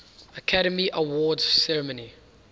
academy awards ceremony